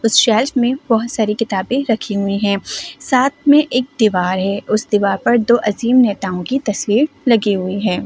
उस शेल्फ में बहुत सारी किताबें रखी हुई हैं साथ में एक दीवार है उस दीवार पर दो अजीम नेताओं की तस्वीर लगी हुई है।